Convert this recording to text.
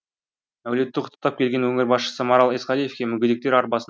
әулетті құттықтап келген өңір басшысы марал исқалиевке мүгедектер арбасын